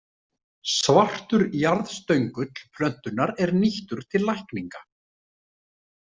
Svartur jarðstöngull plöntunnar er nýttur til lækninga.